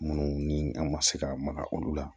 Minnu ni a ma se ka maka olu la